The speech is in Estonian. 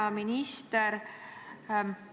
Hea minister!